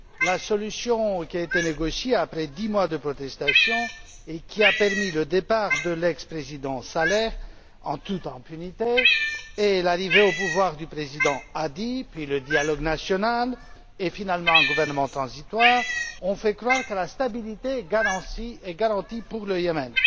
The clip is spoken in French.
La solution qui a été négociée après dix mois de contestation et qui a abouti au départ de l'ex président Saleh en toute impunité et à l'arrivée au pouvoir du président Hadi, puis au dialogue national et finalement à un gouvernement transitoire, ont fait croire que la stabilité était garantie au Yémen.